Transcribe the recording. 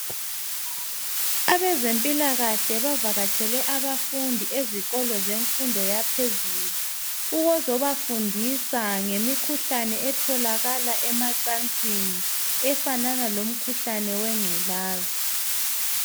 abezempilakahle bavakatshele abafundi ezikolo semfundo yaphezulu ukuzoba fundisa ngemikhuhlane etholakala emacansini efanana lomkhuhlane wenculaza.